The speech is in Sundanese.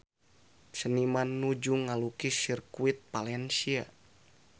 Seniman nuju ngalukis Sirkuit Valencia